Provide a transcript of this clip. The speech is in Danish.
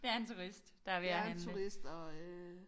Det er en turist der er ved at handle